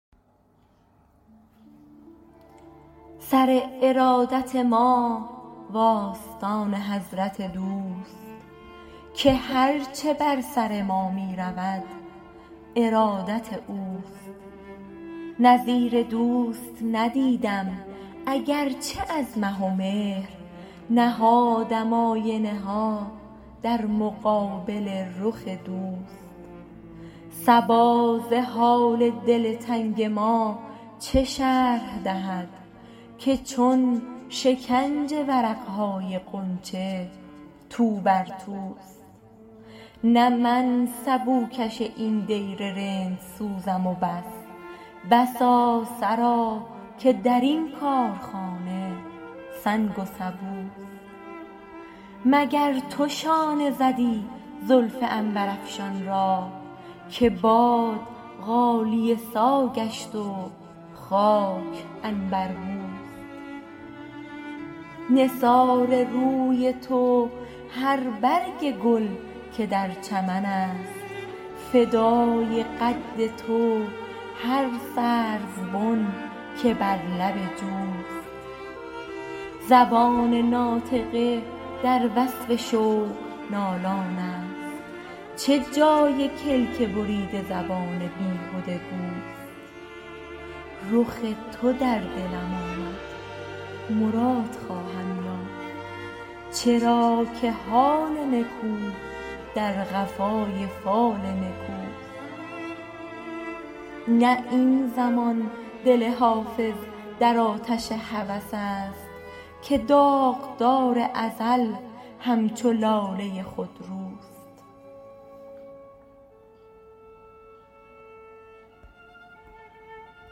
سر ارادت ما و آستان حضرت دوست که هر چه بر سر ما می رود ارادت اوست نظیر دوست ندیدم اگر چه از مه و مهر نهادم آینه ها در مقابل رخ دوست صبا ز حال دل تنگ ما چه شرح دهد که چون شکنج ورق های غنچه تو بر توست نه من سبوکش این دیر رندسوزم و بس بسا سرا که در این کارخانه سنگ و سبوست مگر تو شانه زدی زلف عنبرافشان را که باد غالیه سا گشت و خاک عنبربوست نثار روی تو هر برگ گل که در چمن است فدای قد تو هر سروبن که بر لب جوست زبان ناطقه در وصف شوق نالان است چه جای کلک بریده زبان بیهده گوست رخ تو در دلم آمد مراد خواهم یافت چرا که حال نکو در قفای فال نکوست نه این زمان دل حافظ در آتش هوس است که داغدار ازل همچو لاله خودروست